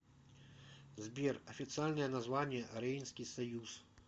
сбер официальное название рейнский союз